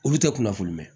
Olu tɛ kunnafoni mɛ